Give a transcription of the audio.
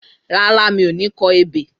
Rárá, mi ò ní kọ ebè